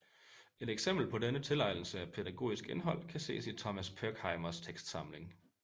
Et eksempel på denne tilegnelse af pædagogisk indhold kan ses i Thomas Pirckheimers tekstsamling